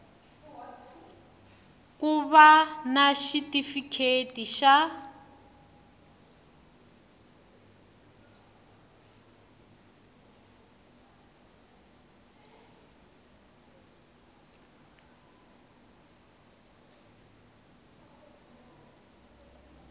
ku va na xitifiketi xa